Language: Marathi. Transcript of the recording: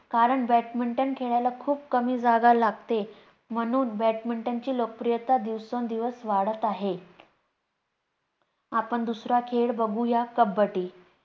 कारण badminton खेळायला खूप कमी जागा लागते, म्हणून badminton ची लोकप्रियता दिवसेंदिवस वाढत आहे. आपण दुसरा खेळ बघूया कब्बड्डी